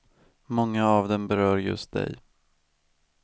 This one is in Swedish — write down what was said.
Många av dem berör just dig.